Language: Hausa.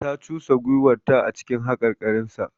Ta cusa gwiwarta a cikin haƙarƙarinsa.